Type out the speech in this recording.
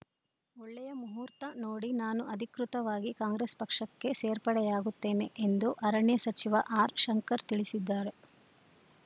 ಒಳ್ಳೆಯ ಮುಹೂರ್ತ ನೋಡಿ ನಾನು ಅಧಿಕೃತವಾಗಿ ಕಾಂಗ್ರೆಸ್‌ ಪಕ್ಷಕ್ಕೆ ಸೇರ್ಪಡೆಯಾಗುತ್ತೇನೆ ಎಂದು ಅರಣ್ಯ ಸಚಿವ ಆರ್‌ಶಂಕರ್‌ ತಿಳಿಸಿದ್ದಾರೆ